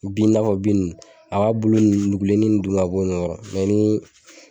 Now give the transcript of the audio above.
Bin i'na fɔ bin nunnu a b'a bulu nugulenni nunnu dun ka bɔ ɲɛgɔrɔ mɛ ni